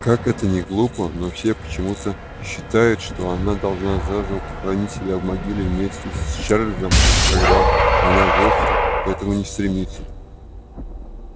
как это ни глупо но все почему-то считают что она должна заживо похоронить себя в могиле вместе с чарлзом когда она вовсе к этому не стремится